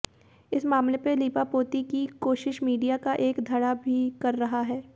इस मामले पर लीपापोती की कोशिश मीडिया का एक धड़ा भी कर रहा है